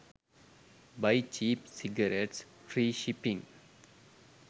buy cheap cigarettes free shipping